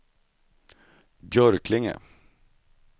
Björklinge